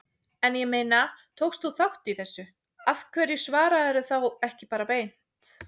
En ég meina, tókst þú þátt í þessu, af hverju svararðu því ekki bara beint?